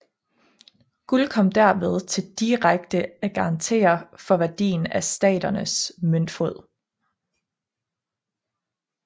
Guld kom derved til direkte at garantere for værdien af staternes møntfod